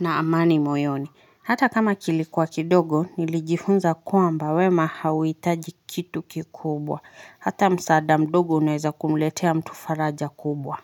na amani moyoni. Hata kama kilikuwa kidogo nilijifunza kwamba wema hauitaji kitu kikubwa. Hata msaada mdogo unaeza kumletea mtu faraja kubwa.